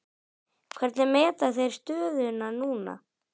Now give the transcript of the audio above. Hvernig meta þeir stöðuna núna?